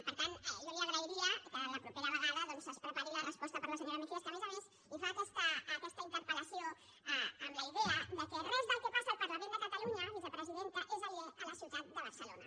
per tant jo li agrairia que la propera vegada es prepari la resposta per a la senyora mejías que a més a més li fa aquesta interpel·lació amb la idea que res del que passa al parlament de catalunya vicepresidenta és aliè a la ciutat de barcelona